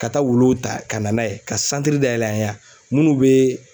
Ka taa wuluw ta ka na n'a ye ka santiri dayɛl'an ye yan munnu bee